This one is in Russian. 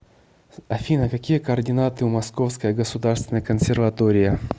афина какие координаты у московская государственная консерватория